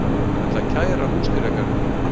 Ætla að kæra Húsdýragarðinn